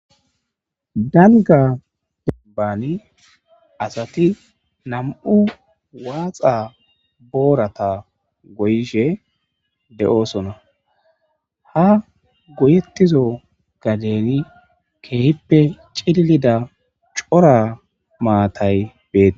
dalga debbani asati nam7u waaxa boorata goyishe de7oosona ha goyettizo gadeni keehippe cillida cora maatay beet